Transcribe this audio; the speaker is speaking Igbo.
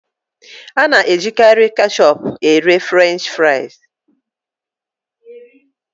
A na-ejikarị ketchup ere Frenchị fries.